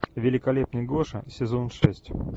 великолепный гоша сезон шесть